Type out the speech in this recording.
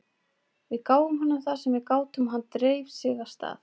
Við gáfum honum það sem við gátum og hann dreif sig af stað.